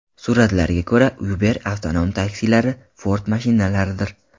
Suratlarga ko‘ra, Uber avtonom taksilari Ford mashinalaridir.